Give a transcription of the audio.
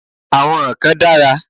Àwọn kan dára.